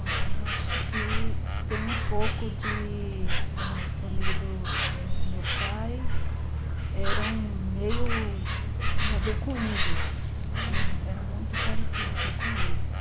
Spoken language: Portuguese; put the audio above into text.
Olha, eu acho que tem um pouco de... da família do do meu pai, eram meio, tinha a ver com índios, hum... eram muito parecidos assim, com índios.